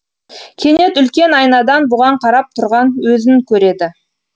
кенет үлкен айнадан бұған қарап тұрған өзін көреді